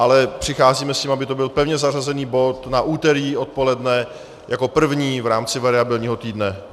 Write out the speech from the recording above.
Ale přicházíme s tím, aby to byl pevně zařazený bod na úterý odpoledne jako první v rámci variabilního týdne.